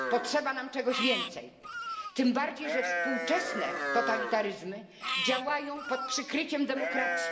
Potrzeba nam czegoś więcej, tym bardziej że współczesne totalitaryzmy działają pod przykryciem demokracji.